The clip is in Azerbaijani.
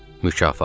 Mükafat.